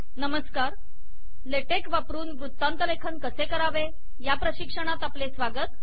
नमस्कार LaTeX वापरून वृत्तांतलेखन कसे करावे या प्रशिक्षणात आपले स्वागत